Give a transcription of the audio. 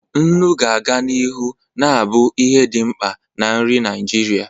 Nnu ga-aga n'ihu na-abụ ihe dị mkpa na nri Naijiria.